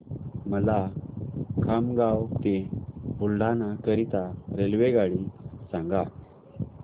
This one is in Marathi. मला खामगाव ते बुलढाणा करीता रेल्वेगाडी सांगा